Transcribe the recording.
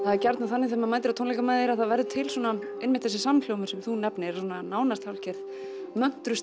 er gjarnan þannig þegar maður mætir á tónleika með þér að það verður til svona einmitt þessi samhljómur sem þú nefnir svona nánast hálfgerð